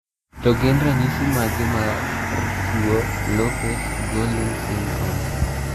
To gin ranyisi mage mar tuo Lopes Gorlin syndrome?